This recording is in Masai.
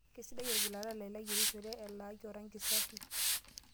Kesidai orgilata lai layierishore eelaki orangi safi.